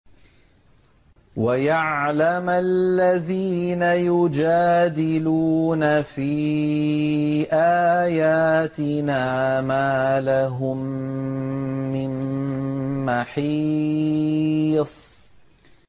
وَيَعْلَمَ الَّذِينَ يُجَادِلُونَ فِي آيَاتِنَا مَا لَهُم مِّن مَّحِيصٍ